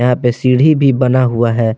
यहां पे सीढ़ी भी बना हुआ है।